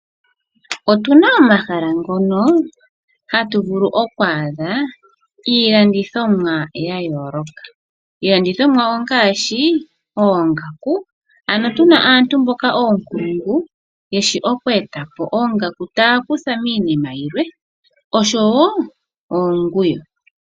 Otuna omahala ngono hatu vulu oku adha iilandithomwa yayooloka. Iilandithomwa ongaashi oongaku ano tuna aantu mboka oonkulungu taya vulu oku etapo oongaku taya kutha miinima yimwe osho woo oonguwo.